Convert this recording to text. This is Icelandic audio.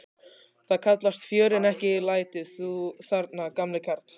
Það kallast fjör en ekki læti, þú þarna gamli karl.